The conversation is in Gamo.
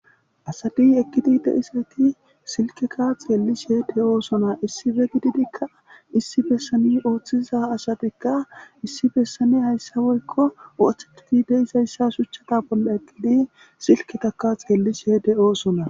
Asati eqqidi deisati silkeka xeellishede oosona issife gididikka issi bessani ooththiza asatikka issi bessani hayssa woykko ooththetiti deisayssa shuchchata bolla eqqidi silketaka xeelli shede oosona